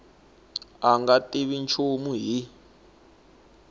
a nga tivi nchumu hi